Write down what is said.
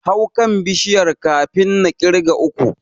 Hau kan Bishiyar kafin na ƙirga uku.